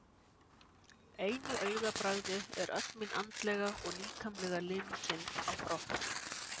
einu augabragði er öll mín andlega og líkamlega linkind á brott.